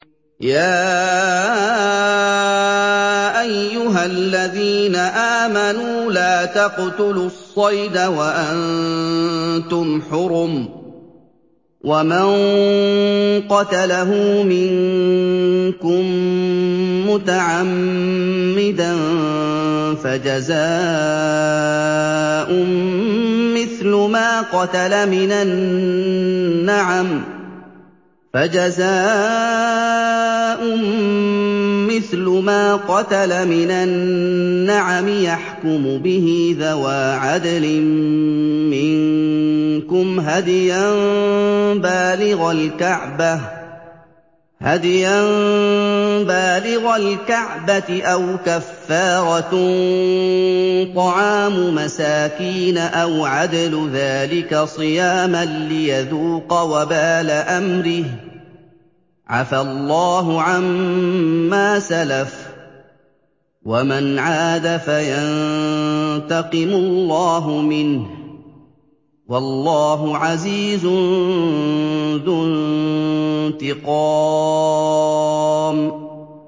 يَا أَيُّهَا الَّذِينَ آمَنُوا لَا تَقْتُلُوا الصَّيْدَ وَأَنتُمْ حُرُمٌ ۚ وَمَن قَتَلَهُ مِنكُم مُّتَعَمِّدًا فَجَزَاءٌ مِّثْلُ مَا قَتَلَ مِنَ النَّعَمِ يَحْكُمُ بِهِ ذَوَا عَدْلٍ مِّنكُمْ هَدْيًا بَالِغَ الْكَعْبَةِ أَوْ كَفَّارَةٌ طَعَامُ مَسَاكِينَ أَوْ عَدْلُ ذَٰلِكَ صِيَامًا لِّيَذُوقَ وَبَالَ أَمْرِهِ ۗ عَفَا اللَّهُ عَمَّا سَلَفَ ۚ وَمَنْ عَادَ فَيَنتَقِمُ اللَّهُ مِنْهُ ۗ وَاللَّهُ عَزِيزٌ ذُو انتِقَامٍ